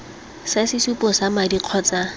sa sesupo sa madi kgotsa